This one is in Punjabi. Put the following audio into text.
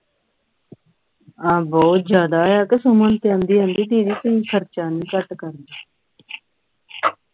ਆਹ ਬਹੁਤ ਜਾਦਾ ਹੈ ਕੇ ਸੁਮਨ ਤੇ ਆਦੀ ਆਦੀ ਦੀਦੀ ਤੁਸੀਂ ਖਰਚਾ ਨਹੀਂ ਘੱਟ ਕਰਨ ਡਏ